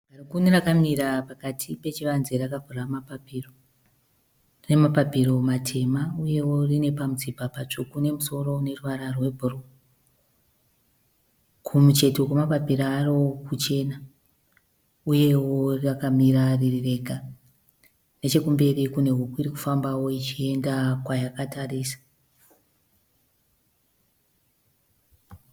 Garikuni rakamira pakati pachivanze rakavhura mapapiro. Rine mapapiro matema nemutsipa mutsvuku nemusoro une ruvara rwebhuruu. Kumucheto kwemapapiro aro kuchena uyewo rakamira riri rega. Nechekumberi kune huku irikufambawo ichienda kwayakatarisa.